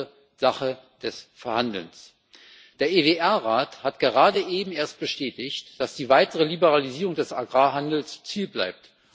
Es ist also Sache des Verhandelns. Der EWR Rat hat gerade eben erst bestätigt, dass die weitere Liberalisierung des Agrarhandels Ziel bleibt.